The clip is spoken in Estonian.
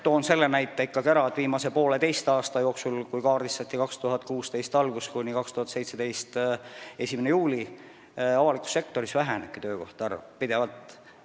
Nimelt, viimase pooleteise aasta jooksul, kui kaardistati ajavahemik 2016 algusest kuni 2017. aasta 1. juulini, on avalikus sektoris töökohtade arv pidevalt vähenenud.